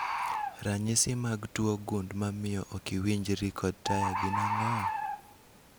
Ranyisi mag tuo gund mamio okiwinjri kod taya gin ang'o?